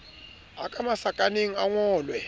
a ka masakaneng a ngolwe